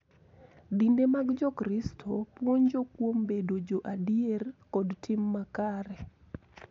Dinde mag Jokristo puonjo kuom bedo jo adier kod tim makare .